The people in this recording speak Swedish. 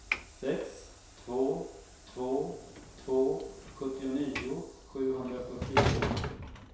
sex två två två sjuttionio sjuhundrafyrtiotvå